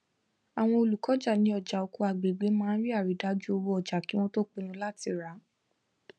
àwọn olùkọjá ní ọjà oko agbègbè máa ń ri àrídájú owó ọjà kí wọn tó pinnu láti rà á